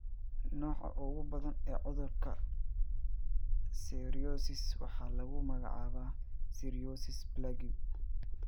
Nooca ugu badan ee cudurka psoriasis waxaa lagu magacaabaa psoriasis plaque.